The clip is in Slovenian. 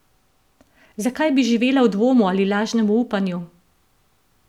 Zakaj bi živela v dvomu ali lažnemu upanju?